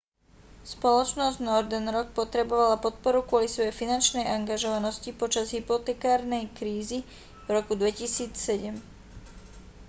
spoločnosť northern rock potrebovala podporu kvôli svojej finančnej angažovanosti počas hypotekárnej krízy v roku 2007